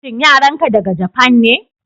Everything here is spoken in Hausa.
shin yaran ka daga Japan ne?